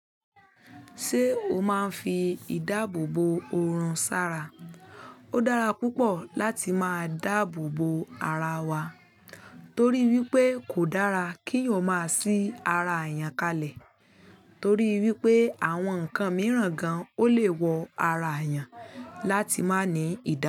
Ṣé o máa ń fi ìdáàbòbò òrùn sára? Ó dára púpọ̀ láti máa dáàbò bò ara wa torí wípé kò dára kí yàn má a sí ara èèyàn kalẹ̀ torí wípé àwọn ǹkan mìíràn gan-an ó lè wọ ara èèyàn láti má nì í ìdáàbòbò.